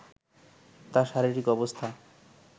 তার শারিরীক অবস্থা